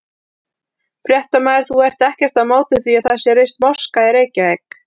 Fréttamaður: Þú ert ekkert á móti því að það sé reist moska í Reykjavík?